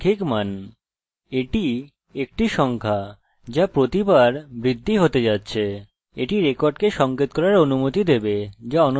এটি রেকর্ডকে সংকেত করার অনুমতি দেবে যা অনন্য সংখ্যা দিয়ে পৃথকভাবে সঞ্চিত করা হচ্ছে